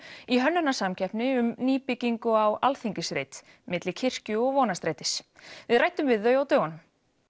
í hönnunarsamkeppni um nýbyggingu á Alþingisreit milli kirkju og Vonarstrætis við ræddum við þau á dögunum